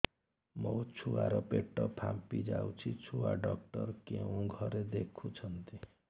ମୋ ଛୁଆ ର ପେଟ ଫାମ୍ପି ଯାଉଛି ଛୁଆ ଡକ୍ଟର କେଉଁ ଘରେ ଦେଖୁ ଛନ୍ତି